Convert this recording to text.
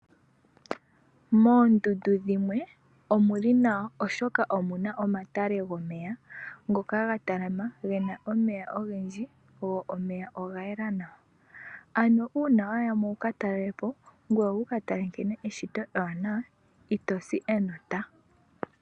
Moondundu dhimwe omuli nawa oshoka omuna omatale gomeya, ngoka ga talama gena omeya ogendji, go omeya ogayela nawa. Ano uuna wayamo wuka telelepo ngoye wukatale nkene eshito ewanawa, ito si enota.